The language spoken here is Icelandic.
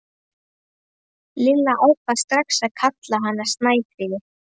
Lilla ákvað strax að kalla hana Snæfríði.